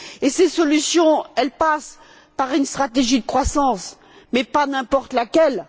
Ces solutions passent par une stratégie de croissance, mais pas n'importe laquelle.